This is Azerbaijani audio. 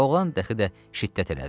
Oğlan dəxi də şiddət elədi.